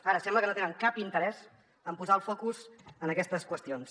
ara sembla que no tenen cap interès en posar el focus en aquestes qüestions